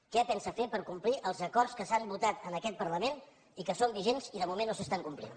què pensa fer per complir els acords que s’han votat en aquest parlament i que són vigents i de moment no s’estan complint